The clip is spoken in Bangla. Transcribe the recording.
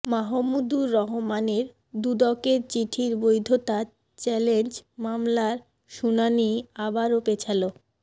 মাহমুদুর রহমানের দুদকের চিঠির বৈধতা চ্যালেঞ্জ মামলার শুনানি আবারো পেছালো